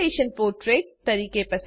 orientation portrait